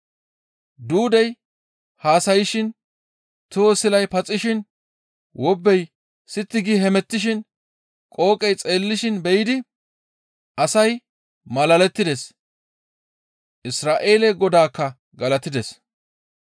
Duudey haasayshin, toho silay paxishin, wobbey sitti gi hemettishin, qooqey xeellishin be7idi asay malalettides; Isra7eele Godaakka galatides.